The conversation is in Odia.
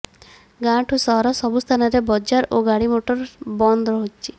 ଗାଁଠୁ ସହର ସବୁ ସ୍ଥାନରେ ବଜାର ଓ ଗାଡ଼ିମୋଟର ବନ୍ଦ ରହିଛି